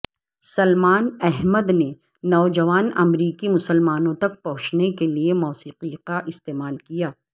سلمان احمد نے نوجوان امریکی مسلمانوں تک پہنچنے کے لئے موسیقی کا استعمال کیا